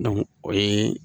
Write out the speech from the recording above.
o ye